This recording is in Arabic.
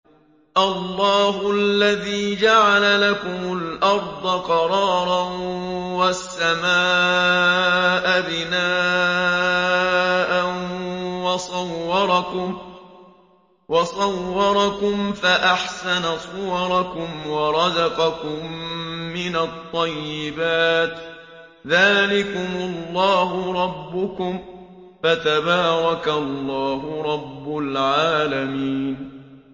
اللَّهُ الَّذِي جَعَلَ لَكُمُ الْأَرْضَ قَرَارًا وَالسَّمَاءَ بِنَاءً وَصَوَّرَكُمْ فَأَحْسَنَ صُوَرَكُمْ وَرَزَقَكُم مِّنَ الطَّيِّبَاتِ ۚ ذَٰلِكُمُ اللَّهُ رَبُّكُمْ ۖ فَتَبَارَكَ اللَّهُ رَبُّ الْعَالَمِينَ